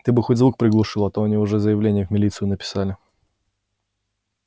ты бы хоть звук приглушил а то они уже заявление в милицию написали